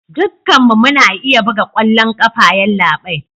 Dukkanmu muna iya buga kwallon kafa yallabai